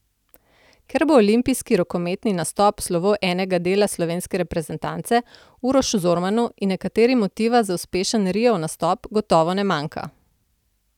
Ker bo olimpijski rokometni nastop slovo enega dela slovenske reprezentance, Urošu Zormanu in nekaterim motiva za uspešen Riov nastop gotovo ne manjka.